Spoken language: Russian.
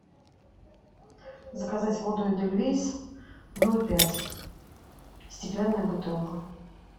заказать воду эдельвейс ноль пять стеклянная бутылка